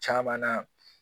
Caman na